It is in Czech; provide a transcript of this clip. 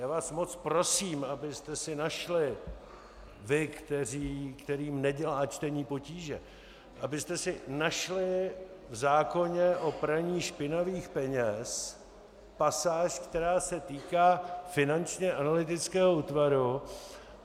Já vás moc prosím, abyste si našli, vy, kterým nedělá čtení potíže, abyste si našli v zákoně o praní špinavých peněz pasáž, která se týká Finančního analytického útvaru.